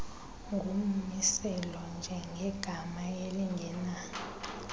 ngummiselo njengegama elingena